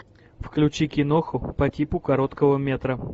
включи киноху по типу короткого метра